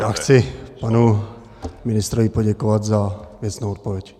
Já chci panu ministrovi poděkovat za věcnou odpověď.